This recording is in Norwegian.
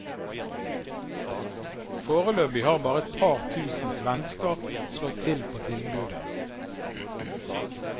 Foreløpig har bare et par tusen svensker har slått til på tilbudet.